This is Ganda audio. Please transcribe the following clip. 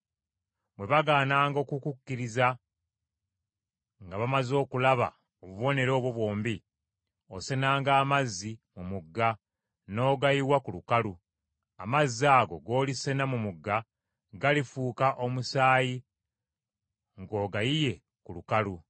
Bwe bagaananga okukukkiriza nga bamaze okulaba obubonero obwo bwombi, osenanga amazzi mu mugga n’ogayiwa ku lukalu; amazzi ago g’olisena mu mugga, galifuuka omusaayi ng’ogayiye ku lukalu.”